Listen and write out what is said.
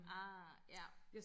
ah ja